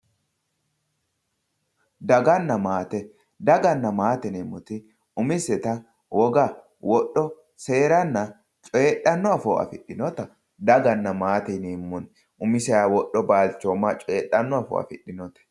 Daganna maate, daganna maate yineemmoti umisetta woga, wodho seeranna coyidhano afoo affidhinotta daganna maate yineemmo umiseha wodho balchoma coyidhanoha affidhinote.